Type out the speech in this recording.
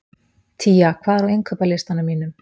Tía, hvað er á innkaupalistanum mínum?